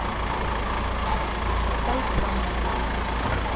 тайцан